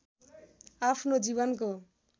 आफ्नो जीवनको